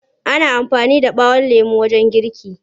Ana amfani da ɓawon lemo wajen girki.